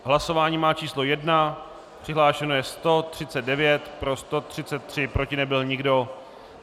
Hlasování má číslo 1, přihlášeno je 139, pro 133, proti nebyl nikdo.